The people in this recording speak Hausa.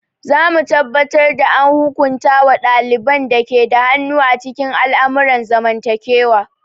Za mu tabbatar da an hukunta wa ɗaliban da ke da hannu a cikin al'amuran zamantakewa.